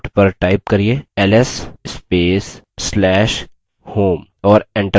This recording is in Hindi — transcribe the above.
ls space/slash home